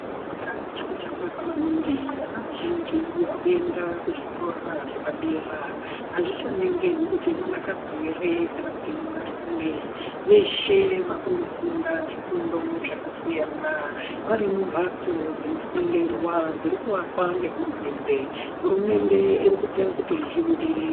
Kufunda chiro chakanaka maningi. Vana vazhinji varikuenda kuzvikoro zvepadera. Azvichaningirwi kuti mwanakadzi here kana mwanarume, veshe vakundofunda zvifundo zvakasiyana varimumhatso dzinoffundirwa dzirikuvakwa nehurumende. Hurumende irikuita kuti zvibudirire.